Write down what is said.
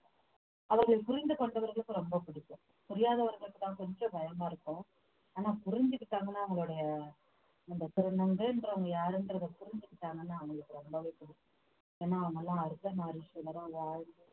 அவர்கள் புரிந்து கொண்டவர்களுக்கு ரொம்ப பிடிக்கும் புரியாதவர்களுக்குத்தான் கொஞ்சம் பயமா இருக்கும் ஆனா புரிஞ்சுக்கட்டாங்கன்னா அவங்களுடைய அந்த திருநங்கைன்றவங்க யாருன்றதை புரிஞ்சுக்கட்டாங்கன்னா அவங்களுக்கு ரொம்பவே பிடிக்கும் ஏன்னா அவங்கெல்லாம் அர்த்தநாரீஸ்வரரா வாழ்ந்~